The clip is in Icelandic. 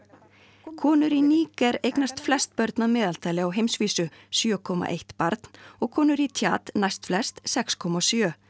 konur í Níger eignast flest börn að meðaltali á heimsvísu sjö komma eitt barn og konur í næstflest sex komma sjö